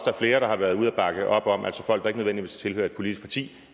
er flere der har været ude og bakke op om altså folk der ikke nødvendigvis tilhører et politisk parti